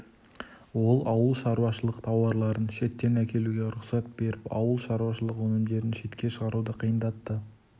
ол ауыл шаруашылық тауарларын шеттен әкелуге рұқсат беріп ауыл шаруашылық өнімдерін шетке шығаруды қиындатты